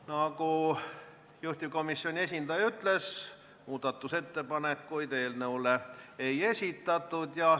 Nagu juhtivkomisjoni esindaja ütles, muudatusettepanekuid eelnõu kohta ei esitatud.